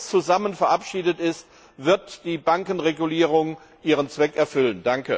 Erst wenn alles zusammen verabschiedet ist, wird die Bankenregulierung ihren Zweck erfüllen.